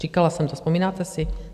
Říkala jsem to, vzpomínáte si?